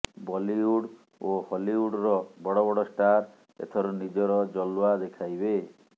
Bollywood ଓ ହଲିଉଡ଼ର ବଡ଼ ବଡ଼ ଷ୍ଟାର ଏଥର ନିଜର ଜଲ୍ୱା ଦେଖାଇବେ